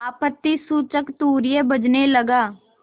आपत्तिसूचक तूर्य बजने लगा